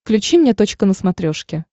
включи мне точка на смотрешке